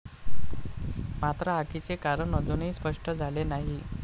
मात्र आगीचे कारण अजूनही स्पष्ट झाले नाही.